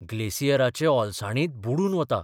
ग्लेसियराचे ओलसाणींत बुडून वता.